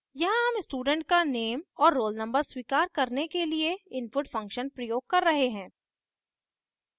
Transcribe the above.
यहाँ हम student का नेम और roll नंबर स्वीकार करने के लिए input function प्रयोग कर रहे हैं